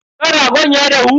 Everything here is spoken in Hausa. Kan ragon ya dahu?